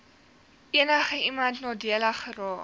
enigiemand nadelig geraak